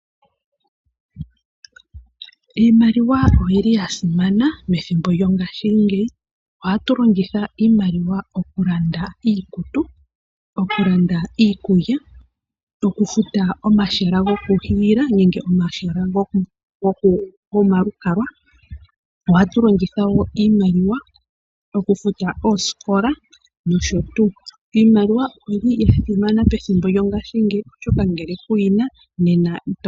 Iimaliwa oya simana methimbo lyongashingeyi. Ohatu longitha iimaliwa okulanda iikutu, okulanda iikulya, okufuta omashina gokuhiila nenge omahala gomalukalwa. Ohatu longitha wo iimaliwa okufuta oosikola nosho tuu. Iimaliwa oya simana methimbo lyongashingeyi.